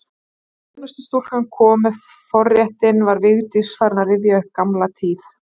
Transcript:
Þegar þjónustustúlkan kom með forréttinn var Vigdís farin að rifja upp gamla tíð.